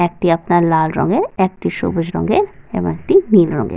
একটি আপনার লাল রঙের একটি সবুজ রঙের এবং একটি নীল রঙের।